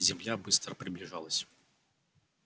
земля быстро приближалась